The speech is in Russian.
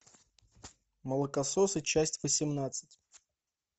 молокососы часть восемнадцать